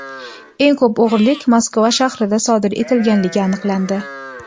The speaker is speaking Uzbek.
Eng ko‘p o‘g‘rilik Moskva shahrida sodir etilganligi aniqlandi.